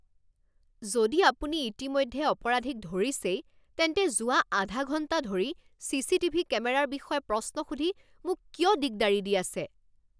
যদি আপুনি ইতিমধ্যে অপৰাধীক ধৰিছেই তেন্তে যোৱা আধা ঘণ্টা ধৰি চি চি টি ভি কেমেৰাৰ বিষয়ে প্ৰশ্ন সুধি মোক কিয় দিগদাৰি দি আছে?